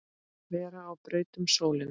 vera á braut um sólina